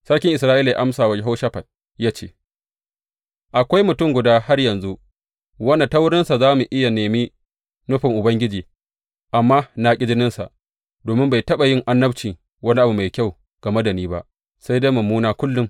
Sarkin Isra’ila ya amsa wa Yehoshafat, ya ce, Akwai mutum guda har yanzu wanda ta wurinsa za mu iya nemi nufin Ubangiji, amma na ƙi jininsa domin bai taɓa yin annabci wani abu mai kyau game da ni ba, sai dai mummuna kullum.